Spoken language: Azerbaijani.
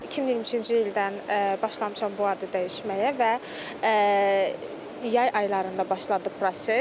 2023-cü ildən başlamışam bu adı dəyişməyə və yay aylarında başladı proses.